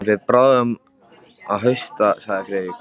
Hann fer bráðum að hausta sagði Friðrik.